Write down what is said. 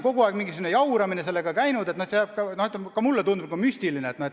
Kogu aeg on mingisugune jauramine sellega käinud, nii et ka mulle tundub kõik juba müstiline.